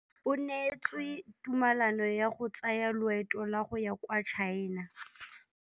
O neetswe tumalanô ya go tsaya loetô la go ya kwa China.